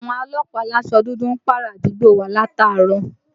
Àwọn ọlọ́pàá alásọ dúdú ń pààrà àdúgbò wa látàárọ̀